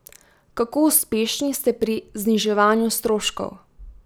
Kako uspešni ste pri zniževanju stroškov?